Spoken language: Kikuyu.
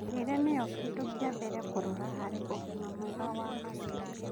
Mĩrĩĩre nĩyo kĩndũ kĩa mbere kũrora harĩ ũgima mwega wa magego